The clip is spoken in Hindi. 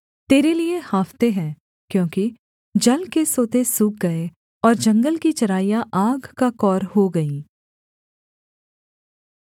वनपशु भी तेरे लिये हाँफते हैं क्योंकि जल के सोते सूख गए और जंगल की चराइयाँ आग का कौर हो गईं